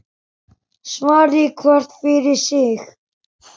Svari hver fyrir sig.